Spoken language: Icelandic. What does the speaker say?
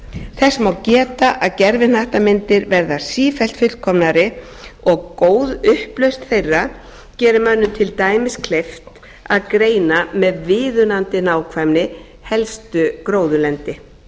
þess má geta að gervihnattamyndir verða sífellt fullkomnari og góð upplausn þeirra gerir mönnum til dæmis kleift að greina með viðunandi nákvæmni helstu gróðurlendi